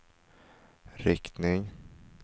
riktning